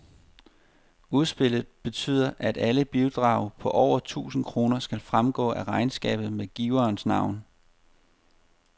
Udspillet betyder, at alle bidrag på over tusind kroner skal fremgå af regnskabet med giverens navn.